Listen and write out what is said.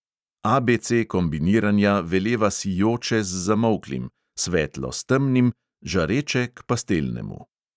ABC kombiniranja veleva sijoče z zamolklim, svetlo s temnim, žareče k pastelnemu.